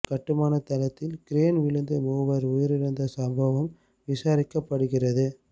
கட்டுமானத் தளத்தில் கிரென் விழுந்து மூவர் உயிரிழந்த சம்பவம் விசாரிக்கப்படுகிறது